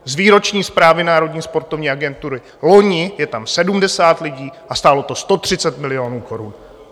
Z výroční zprávy Národní sportovní agentury - loni je tam 70 lidí a stálo to 130 milionů korun.